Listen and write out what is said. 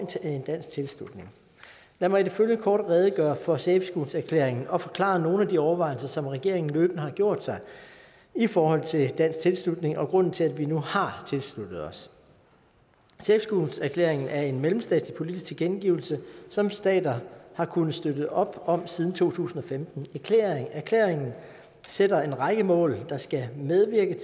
en dansk tilslutning lad mig i det følgende kort redegøre for safe schools erklæringen og forklare nogle af de overvejelser som regeringen løbende har gjort sig i forhold til dansk tilslutning og grunden til at vi nu har tilsluttet os safe schools erklæringen er en mellemstatslig politisk tilkendegivelse som stater har kunnet støtte op om siden to tusind og femten erklæringen sætter en række mål der skal medvirke